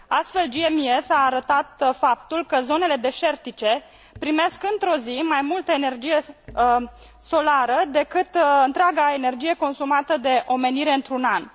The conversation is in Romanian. Astfel, GMES a arătat faptul că zonele deșertice primesc într o zi mai multă energie solară decât întreaga energie consumată de omenire într un an.